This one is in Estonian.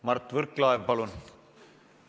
Mart Võrklaev, palun!